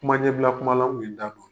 Kuma ɲɛbila kuma na